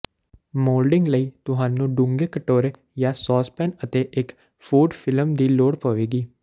moulding ਲਈ ਤੁਹਾਨੂੰ ਡੂੰਘੇ ਕਟੋਰੇ ਜਾਂ ਸੌਸਪੈਨ ਅਤੇ ਇੱਕ ਫੂਡ ਫਿਲਮ ਦੀ ਲੋੜ ਪਵੇਗੀ